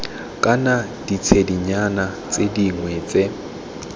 kana ditshedinyana tse dingwe tse